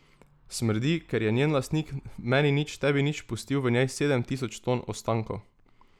Smrdi, ker je njen lastnik meni nič tebi nič pustil v njej sedem tisoč ton ostankov.